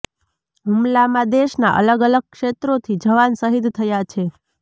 હુમલામાં દેશના અલગ અલગ ક્ષેત્રોથી જવાન શહીદ થયા છે